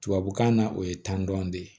Tubabukan na o ye tan dɔn de